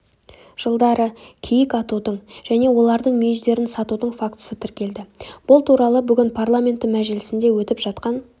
жылдары киік атудың және олардың мүйіздерін сатудың фактісі тіркелді бұл туралы бүгін парламенті мәжілісінде өтіп жатқан